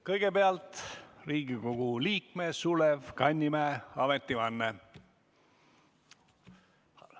Kõigepealt Riigikogu liikme Sulev Kannimäe ametivanne.